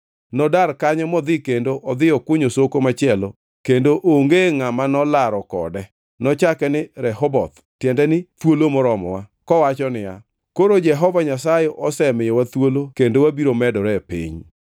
Nodar kanyo modhi kendo odhi okunyo soko machielo, kendo onge ngʼama nolaro kode. Nochake ni Rehoboth (tiende ni thuolo moromowa), kowacho niya, “Koro Jehova Nyasaye osemiyowa thuolo kendo wabiro medore e piny.”